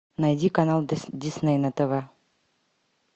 найди канал дисней на тв